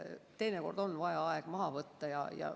Teinekord on vaja aeg maha võtta.